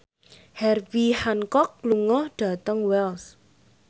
Herbie Hancock lunga dhateng Wells